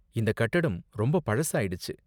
இந்த கட்டடம் ரொம்ப பழசாயிடுச்சு.